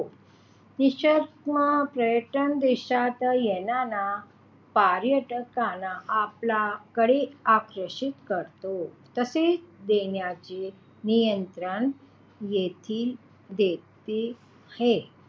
पर्यटन देशात येणाऱ्या पर्यटकांना आपल्याकडे आकर्षित करतो तसेच येण्याचे निमंत्रण देखील देतो.